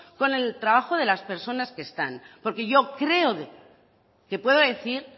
con el trabajo de las personas que están porque yo creo que puedo decir